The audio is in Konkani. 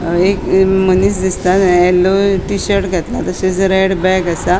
एक मनिस दिसता येलो टिशर्ट घेतला तशेच रेड बॅग असा.